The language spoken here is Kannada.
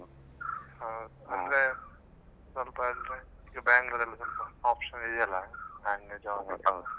ಹಾ ಅಂದ್ರೆ ಸ್ವಲ್ಪ Bangalore ಅಲ್ಲಿ option ಇದೆಯೆಲ್ಲ ನಂಗೆ job ಆಗುದ್.